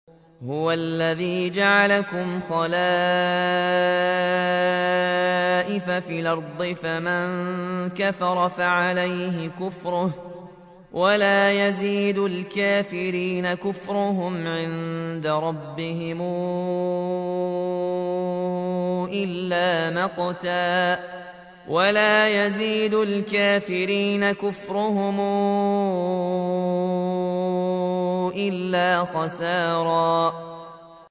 هُوَ الَّذِي جَعَلَكُمْ خَلَائِفَ فِي الْأَرْضِ ۚ فَمَن كَفَرَ فَعَلَيْهِ كُفْرُهُ ۖ وَلَا يَزِيدُ الْكَافِرِينَ كُفْرُهُمْ عِندَ رَبِّهِمْ إِلَّا مَقْتًا ۖ وَلَا يَزِيدُ الْكَافِرِينَ كُفْرُهُمْ إِلَّا خَسَارًا